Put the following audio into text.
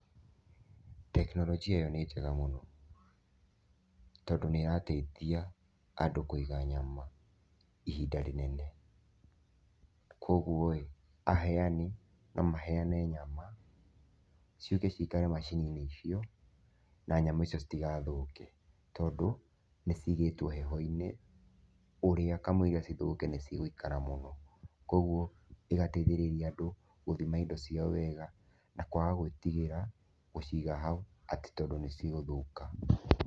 Tekinoronjia ĩyo nĩ njega mũno, tondũ nĩ ĩrateithia andũ kũiga nyama ihinda rĩnene. Koguo-ĩ, aheani no maheane nyama ciũke cikare macini-inĩ icio na nyama icio citigathũke, tondũ nĩ cigĩtwo heho-inĩ ũrĩa kamũira cithũke nĩ cigũikara mũno, koguo ĩgateithĩrĩria andũ gũthima indo ciao wega na kwaga gũĩtigĩra gũciga hau atĩ tondũ nĩ cigũthũka.